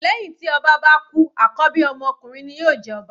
Lẹ́hìn tí ọba bá kú àkọ́bí ọmọ ọkunrin ni yóò jẹ ọba.